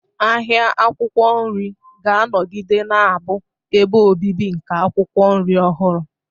Ahịa akwụkwọ nri ga-anọgide na-abụ ebe obibi nke akwụkwọ nri ọhụrụ.